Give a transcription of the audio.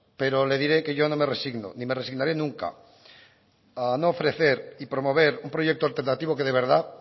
pero le diré que yo no me resigno ni me resignaré nunca a no ofrecer y promover un proyecto alternativo que de verdad